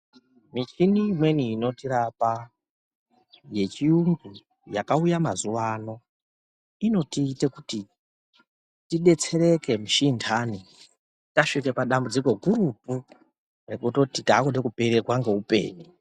Michini imweni inotirapa yechiyungu yakauya mazuwa ano inotite kuti tidetsera mushini intani tasvike padambudziko gurutu rekutoti takude kutopererwa ngeupenyu.